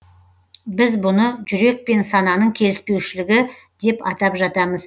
біз бұны жүрек пен сананың келіспеушілігі деп атап жатамыз